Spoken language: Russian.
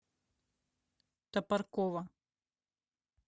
топоркова